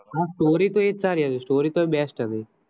હા story તો એ જ સારી હતી story તો best હતી